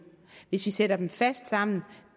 hvis vi sætter dem fast sammen